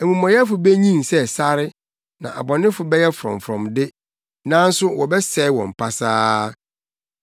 amumɔyɛfo benyin sɛ sare na abɔnefo bɛyɛ frɔmfrɔm de, nanso wɔbɛsɛe wɔn pasaa.